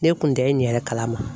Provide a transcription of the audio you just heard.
Ne kun tɛ n ɲɛrɛ kalama.